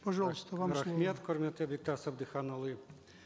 пожалуйста вам рахмет құрметті бектас әбдіханұлы